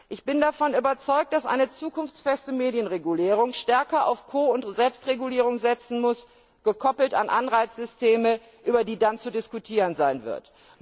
Ich bin davon überzeugt, dass eine zukunftsfeste Medienregulierung stärker auf Ko und Selbstregulierung setzen muss, gekoppelt an Anreizsysteme, über die dann zu diskutieren sein wird.